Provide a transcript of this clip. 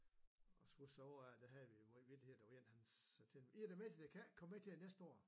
Og kan huske et år der havde vi mange vittigheder der var en han fortalte det næste jeg kan ikke komme med til det næste år